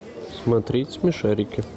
смотреть смешарики